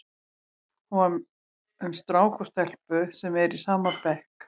Hún var um strák og stelpu sem eru í sama bekk.